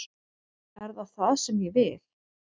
Er það það sem ég vil?